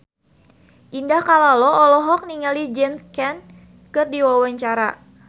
Indah Kalalo olohok ningali James Caan keur diwawancara